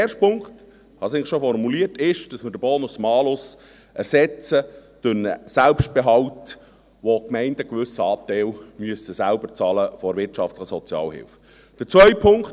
Der erste Punkt, ich habe es eigentlich schon formuliert, ist, dass wir den Bonus-Malus durch einen Selbstbehalt ersetzen, bei dem die Gemeinden einen gewissen Anteil der wirtschaftlichen Sozialhilfe selbst bezahlen müssen.